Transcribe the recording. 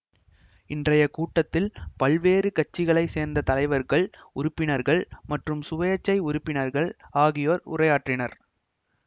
இன்றைய கூட்டத்தில் பல்வேறு கட்சிகளை சேர்ந்த தலைவர்கள்உறுப்பினர்கள் மற்றும் சுயேட்சை உறுப்பினர்கள் ஆகியோர் உரையாற்றினர்